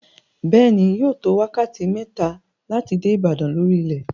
Bẹ́ẹ̀ ni, yóò tó wákàtí mẹ́ta láti dé Ìbàdàn lórí ilẹ̀.